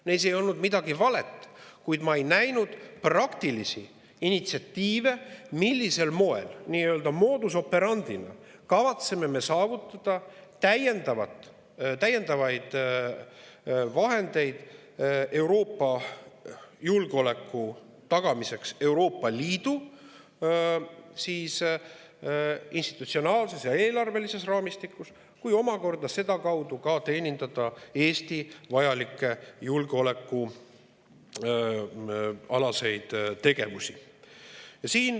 Neis ei olnud midagi valet, kuid ma ei näinud praktilisi initsiatiive, millisel moel modus operandi'na kavatseme me saavutada lisavahendeid Euroopa julgeoleku tagamiseks Euroopa Liidu institutsionaalses ja eelarvelises raamistikus ning omakorda sedakaudu teenindada Eesti vajalikke tegevusi julgeoleku nimel.